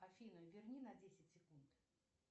афина верни на десять секунд